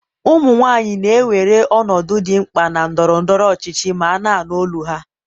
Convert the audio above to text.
ụmụ nwanyị na-ewere ọnọdụ dị mkpa na ndọrọ ndọrọ ọchịchị ma na-anụ olu ha.